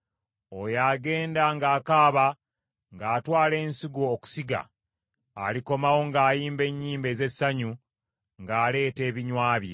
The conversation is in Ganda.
Oyo agenda ng’akaaba ng’atwala ensigo okusiga; alikomawo ng’ayimba ennyimba ez’essanyu ng’aleeta ebinywa bye.